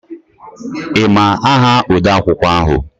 Ị ma aha odeakwụkwọ ahụ?